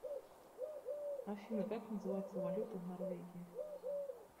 афина как называется валюта в норвегии